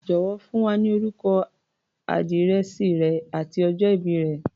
Jọ̀wọ́, fún wa ní orúkọ, àdírẹ̀sì rẹ àti ọjọ ìbí rẹ̀.